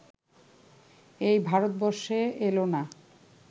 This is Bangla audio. এই ভারতবর্ষে এলো না